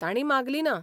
तांणी मागली ना.